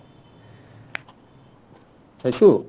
চাইচো